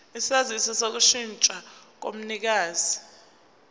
isaziso sokushintsha komnikazi